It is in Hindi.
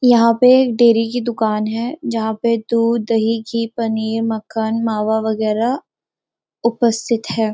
यहाँ पर एक डेरी की दुकान है जहाँ पर दूध दही घी पनीर मक्खन मावा वगैरह उपस्थित है।